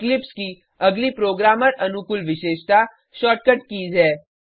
Eclipse की अगली programmer अनुकूल विशेषता शॉर्टकट कीज़ है